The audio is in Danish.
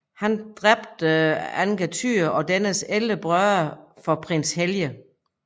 Han dræber Angantyr og dennes 11 brødre for prins Helge